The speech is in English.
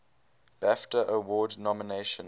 bafta award nomination